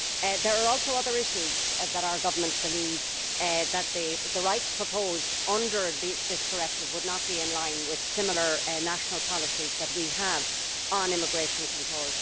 There are also other issues for our Government and it believes that the rights proposed under this directive would not be in line with similar national policies which we have on immigration control.